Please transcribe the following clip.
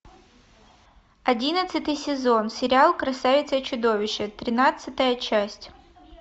одиннадцатый сезон сериал красавица и чудовище тринадцатая часть